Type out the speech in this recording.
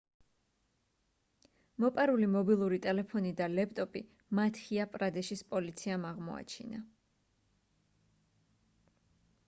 მოპარული მობილური ტელეფონი და ლეპტოპი მადჰია პრადეშის პოლიციამ აღმოაჩინა